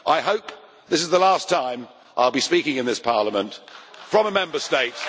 I hope this is the last time I will be speaking in this Parliament from a Member State.